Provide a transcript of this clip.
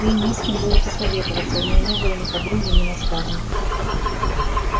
ей не с кем было посоветоваться у ней не было ни подруги ни наставницы